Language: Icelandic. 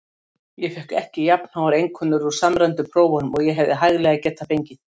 Þú hefur samþykkt þær allar.